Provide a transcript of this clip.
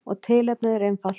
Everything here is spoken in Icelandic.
Og tilefnið er einfalt.